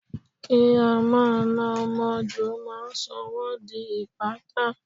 Kí á máa na ọmọ jù máa ń sọ wón di ìpátá.